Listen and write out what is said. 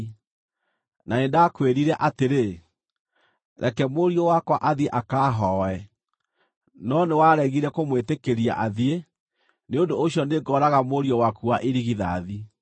na nĩndakwĩrire atĩrĩ, “Reke mũriũ wakwa athiĩ akaahooe.” No nĩwaregire kũmwĩtĩkĩria athiĩ; nĩ ũndũ ũcio nĩngooraga mũriũ waku wa irigithathi.’ ”